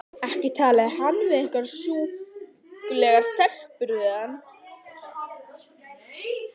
Ekki talaði hann um einhverjar sjúklegar stelpur við hana!